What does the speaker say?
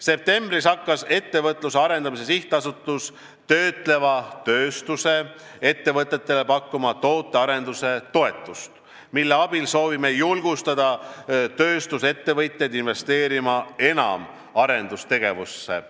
Septembris hakkas Ettevõtluse Arendamise Sihtasutus pakkuma töötleva tööstuse ettevõtetele tootearenduse toetust, mille abil soovime julgustada tööstusettevõtjaid enam arendustegevusse investeerima.